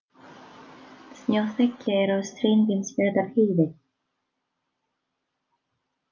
Snjóþekja er á Steingrímsfjarðarheiði